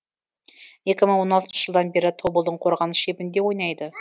екі мың он алтыншы жылдан бері тобылдың қорғаныс шебінде ойнайды